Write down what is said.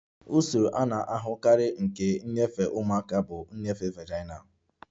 Usoro a na-ahụkarị nke nnyefe ụmụaka bụ nnyefe vaginal